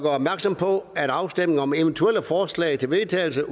opmærksom på at afstemning om eventuelle forslag til vedtagelse